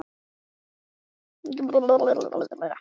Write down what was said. Getum við barist um titilinn?